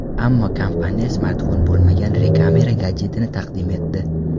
Ammo kompaniya smartfon bo‘lmagan Re Camera gadjetini taqdim etdi.